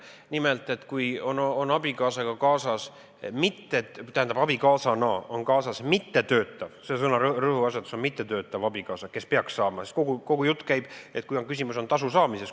Nimelt, see on sel juhul, kui kaasas on mittetöötav abikaasa – rõhuasetus on sõnal "mittetöötav" – ja kui küsimus on tasu saamises.